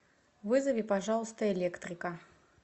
вызови пожалуйста электрика